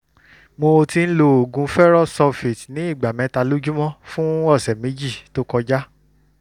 mo ti ń lo oògùn ferrous sulfate ní ìgbà mẹ́ta lójúmọ́ fún ọ̀sẹ̀ méjì tó kọjá